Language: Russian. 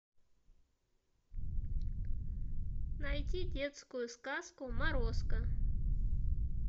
найти детскую сказку морозко